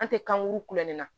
An tɛ kankuru kulonkɛ la